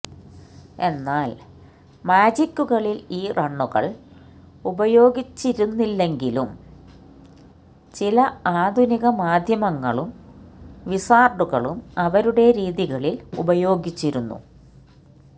എന്നാൽ മാജിക്കുകളിൽ ഈ റണ്ണുകൾ ഉപയോഗിച്ചിരുന്നില്ലെങ്കിലും ചില ആധുനിക മാധ്യമങ്ങളും വിസാർഡുകളും അവരുടെ രീതികളിൽ ഉപയോഗിച്ചിരുന്നു